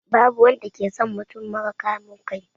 Babu wanda ke son mutum mara kamun kai.